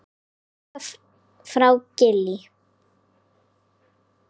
Kveðja frá Gili.